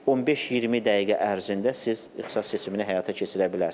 15-20 dəqiqə ərzində siz ixtisas seçimini həyata keçirə bilərsiniz.